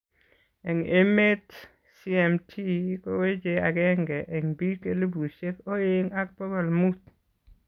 Eng' emet CMT koweche ageng'e eng biik elipusyek oeng' ak bokol muut